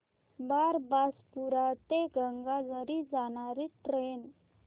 बारबासपुरा ते गंगाझरी जाणारी ट्रेन